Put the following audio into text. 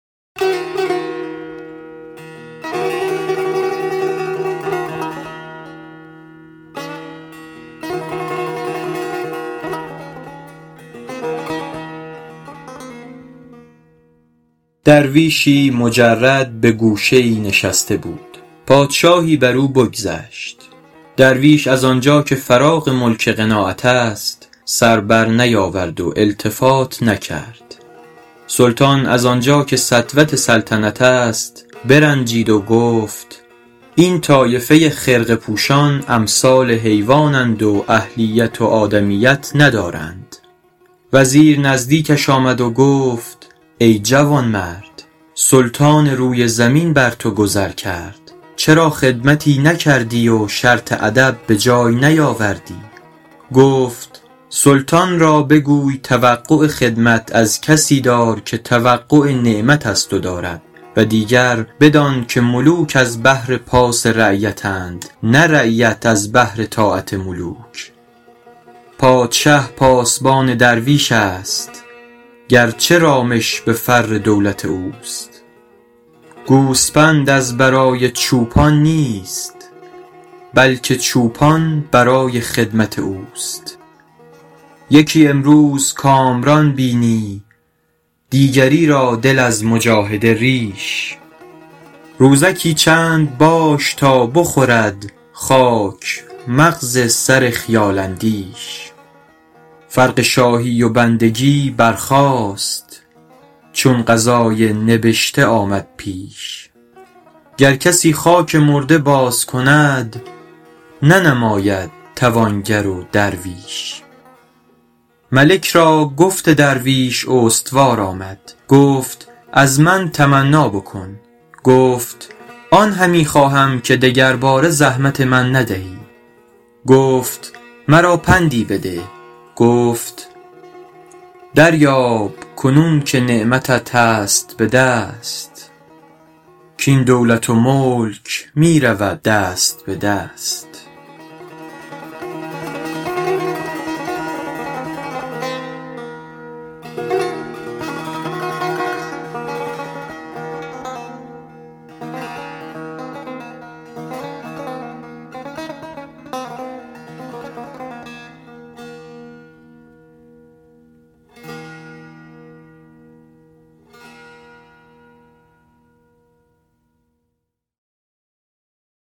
درویشی مجرد به گوشه ای نشسته بود پادشاهی بر او بگذشت درویش از آنجا که فراغ ملک قناعت است سر بر نیاورد و التفات نکرد سلطان از آنجا که سطوت سلطنت است برنجید و گفت این طایفه خرقه پوشان امثال حیوان اند و اهلیت و آدمیت ندارند وزیر نزدیکش آمد و گفت ای جوانمرد سلطان روی زمین بر تو گذر کرد چرا خدمتی نکردی و شرط ادب به جای نیاوردی گفت سلطان را بگوی توقع خدمت از کسی دار که توقع نعمت از تو دارد و دیگر بدان که ملوک از بهر پاس رعیت اند نه رعیت از بهر طاعت ملوک پادشه پاسبان درویش است گرچه رامش به فر دولت اوست گوسپند از برای چوپان نیست بلکه چوپان برای خدمت اوست یکی امروز کامران بینی دیگری را دل از مجاهده ریش روزکی چند باش تا بخورد خاک مغز سر خیال اندیش فرق شاهی و بندگی برخاست چون قضای نبشته آمد پیش گر کسی خاک مرده باز کند ننماید توانگر و درویش ملک را گفت درویش استوار آمد گفت از من تمنا بکن گفت آن همی خواهم که دگرباره زحمت من ندهی گفت مرا پندی بده گفت دریاب کنون که نعمتت هست به دست کاین دولت و ملک می رود دست به دست